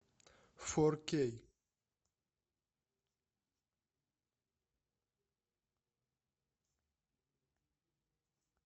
фор кей